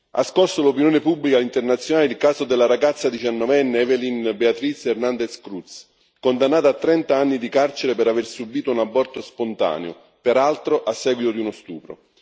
Ha scosso l'opinione pubblica internazionale il caso della ragazza diciannovenne Evelyn Beatriz Hernandez Cruz, condannata a trent'anni di carcere per aver subito un aborto spontaneo, peraltro a seguito di uno stupro.